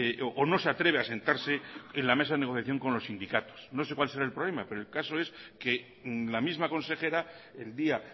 o no se atreve a sentarse en la mesa de negociación con los sindicatos no sé cuál será el problema pero el caso es que la misma consejera el día